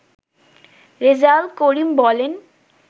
রেজাউল করিম বলেন